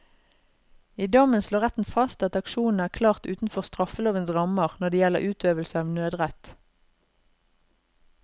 I dommen slår retten fast at aksjonene er klart utenfor straffelovens rammer når det gjelder utøvelse av nødrett.